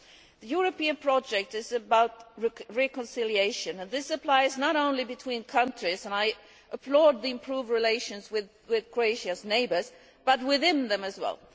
The European project is about reconciliation, and this applies not only between countries and I applaud the improved relations with Croatia's neighbours but within them as well.